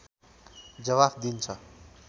जबाफ दिन्छ